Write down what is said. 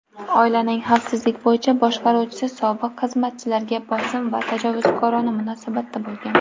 oilaning xavfsizlik bo‘yicha boshqaruvchisi sobiq xizmatchilarga bosim va tajovuzkorona munosabatda bo‘lgan.